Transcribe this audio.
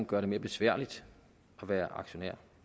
gør det mere besværligt at være aktionær